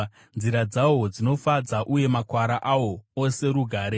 Nzira dzahwo dzinofadza, uye makwara ahwo ose rugare.